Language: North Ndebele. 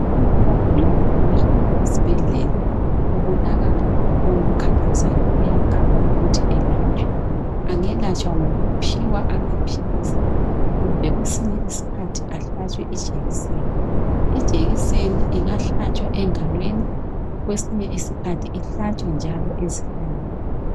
Umuntu ogulayo engahamba esibhedlela , kubonakale lokho okumkhathazayo, uyaqala ukuthi elatshwe, engelatshwa ngokuphiwa amaphilisi, kumbe kwesinye isikhathi ahlatshwe ijekiseni. Ijekiseni ingahlatshwa engalweni, kwesinye isikhathi ihlatshwe njalo njalo ezihlalweni